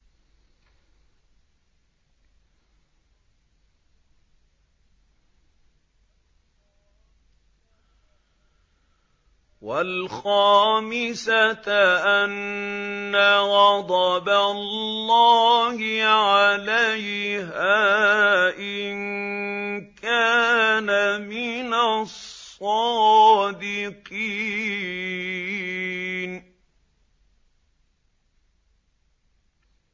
وَالْخَامِسَةَ أَنَّ غَضَبَ اللَّهِ عَلَيْهَا إِن كَانَ مِنَ الصَّادِقِينَ